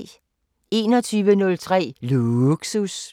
21:03: Lågsus